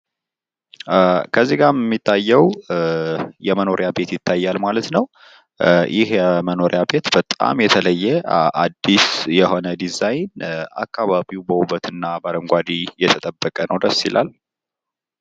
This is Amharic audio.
በምስሉ ላይ የምናየው የመኖሪያ ቤት ሲሆን በጣም ልዩ የሆነ ፣ አዲስና ውበቱ የተጠበቀ እንዲሁም አረንጓዴ እና ልዩ ነው።